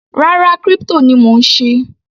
Rárá, crypto ni mò ń ṣe.